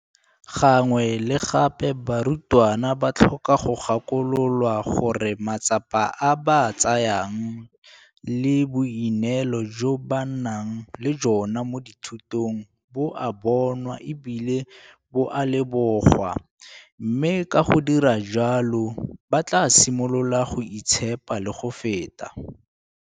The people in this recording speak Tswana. Gangwe le gape barutwana ba tlhoka go gakololwa gore matsapa a ba a tsayang le boineelo jo ba nang le jona mo dithutong bo a bonwa e bile bo a lebogwa, mme ka go dira jalo ba tla simolola go itshepa le go feta.